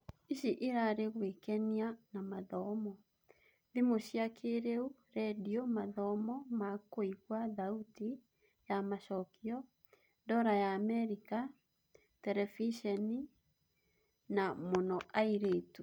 Ici irari gũĩkenia na mathomo, thimũ cia kĩĩrĩu, rendio, mathomo ma kũigua thauti ya macokio, ndora ya Amerika, Terebiceni) na mũno airĩtu